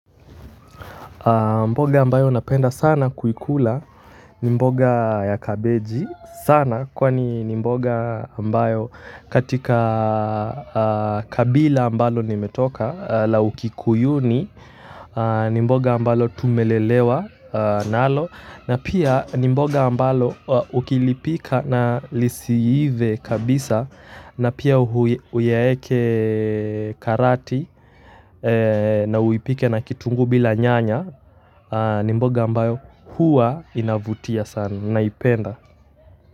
Mboga ambayo napenda sana kuikula ni mboga ya kabeji sana kwani ni mboga ambayo katika kabila ambalo nimetoka la ukikuyuni ni mboga ambalo tumelelewa nalo na pia ni mboga ambalo ukilipika na lisiive kabisa na pia uyaeke karati na uipike na kitunguu bila nyanya ni mboga ambayo huwa inavutia sana na naipenda.